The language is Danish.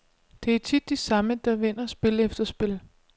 Det er tit de samme, der vinder spil efter spil.